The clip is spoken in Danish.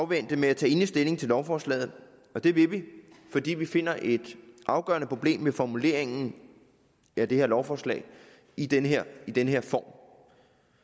vente med at tage endelig stilling til lovforslaget og det vil vi fordi vi finder et afgørende problem i formuleringen af det her lovforslag i den her den her form